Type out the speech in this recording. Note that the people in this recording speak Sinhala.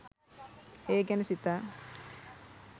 ඒ ගැන සිතා